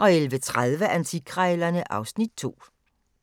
11:30: Antikkrejlerne (Afs. 2)